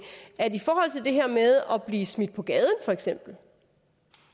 i det her med at blive smidt på gaden for eksempel